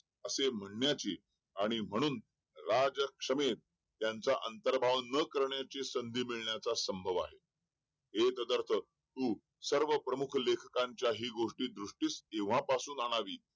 असे म्हणण्याची आणि म्हणून राजक्षमेस त्यांचा अंतर्भाव न करण्याची संधी मिळण्याचा संभव आहे हे न करता तू सर्व प्रमुख लेखकांच्याही गोष्टी दृष्टीस केव्हापासुन आणावी